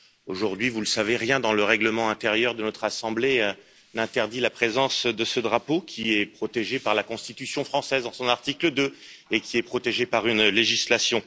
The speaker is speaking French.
Aujourd'hui, vous le savez, rien dans le règlement intérieur de notre assemblée n'interdit la présence de ce drapeau, qui est protégé par la Constitution française dans son article 2 et par une législation.